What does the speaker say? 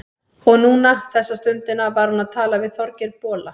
Og núna, þessa stundina, var hún að tala við Þorgeir bola.